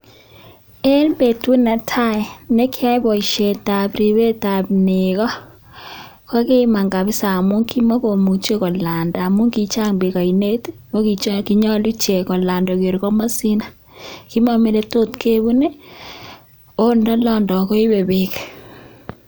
En betut netai nekioyoe boishetab ribetab nekoo kokiiman kabisaa amun kimokomuche kolanda amun kochang beek oinet oo kinyolu ichek kolanda koba koker komosin, komomii oletot kebun oo ndolondo koibe beek.